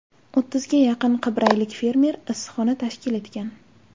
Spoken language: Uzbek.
O‘ttizga yaqin qibraylik fermer issiqxona tashkil etgan.